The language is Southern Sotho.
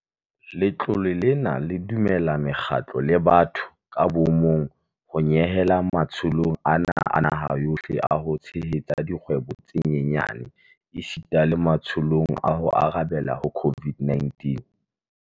Letlole lena le dumella mekgatlo le batho ka bomong ho nyehela matsholong ana a naha yohle a ho tshehetsa dikgwebo tse nyenyane esita le matsholong a ho arabela ho COVID-19.